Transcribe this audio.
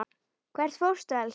Hvert fórstu, elskan mín?